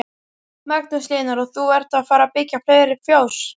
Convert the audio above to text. Magnús Hlynur: Og þú ert að fara byggja fleiri fjós?